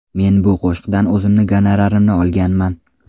Men bu qo‘shiqdan o‘zimni gonorarimni olganman.